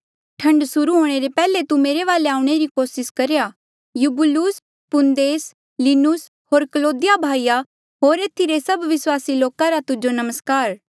ठण्ड सुर्हू हूंणे ले पैहले तू मेरे वाले आऊणें री कोसिस करेया यूबूलुस पुन्देस लीनुस होर क्लौदिया भाईया होर एथी रे सभ विस्वासी लोका रा तुजो नमस्कार